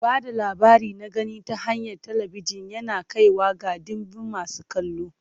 Ba da labari na gani ta hanyar talabijin yana kaiwa ga ɗimbin masu kallo.